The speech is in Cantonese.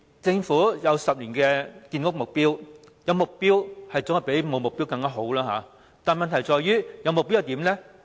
政府有10年的建屋目標，無疑總比沒有目標好，問題是有了目標又如何？